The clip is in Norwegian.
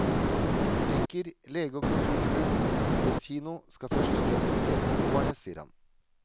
Butikker, lege og kulturtilbud, muligens kino, skal først og fremst betjene beboerne, sier han.